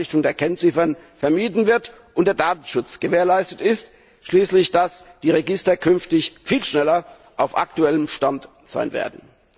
bei der Einrichtung der Kennziffern, vermieden wird und der Datenschutz gewährleistet ist, und dass die Register künftig viel schneller auf aktuellem Stand sein werden.